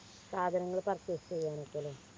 സാധനങ്ങൾ purchase